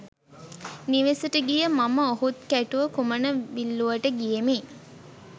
නිවෙසට ගිය මම ඔහුත් කැටුව කුමන විල්ලූවට ගියෙමි.